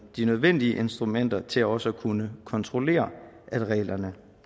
de nødvendige instrumenter til også at kunne kontrollere at reglerne